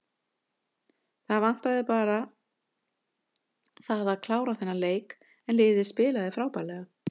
Það vantaði bara það að klára þennan leik en liðið spilaði frábærlega.